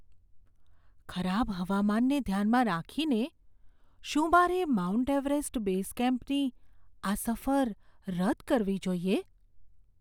ખરાબ હવામાનને ધ્યાનમાં રાખીને, શું મારે માઉન્ટ એવરેસ્ટ બેઝ કેમ્પની આ સફર રદ કરવી જોઈએ?